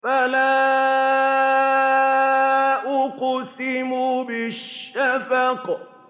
فَلَا أُقْسِمُ بِالشَّفَقِ